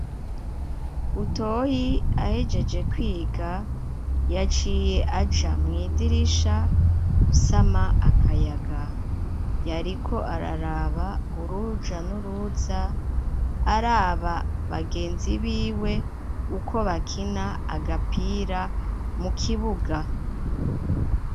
Butoyi ahejeje kwiga yaciye aja mw'idirisha gusama akayaga yariko araraba uruja nuruza araba bagenzi biwe uko bakina agapira mu kibuga